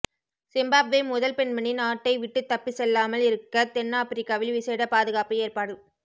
Zimbabwe முதல் பெண்மணி நாட்டை விட்டு தப்பிச் செல்லாமல் இருக்க தென் ஆபிரிக்காவில் விசேட பாதுகாப்பு ஏற்பாடு